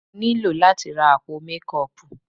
Mo ní láti ra àpò mékọọpù.